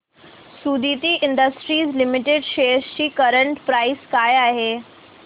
Suditi industries limited shares ची current price काय आहे